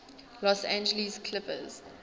los angeles clippers